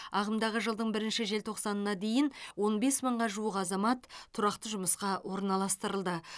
ағымдағы жылдың бірінші желтоқсанына дейін он бес мыңға жуық азамат тұрақты жұмысқа орналастырылды